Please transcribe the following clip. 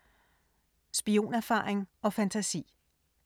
Spionerfaring og fantasi